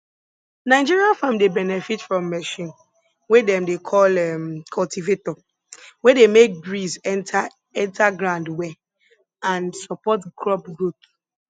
nigeria farm dey benefit from machine wey dem dey call um cultivator wey dey make breeze enter enter ground well and support crop growth